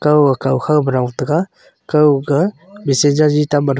kaw kowkhog ma rong ta ga kaw ga machine jangi tamma.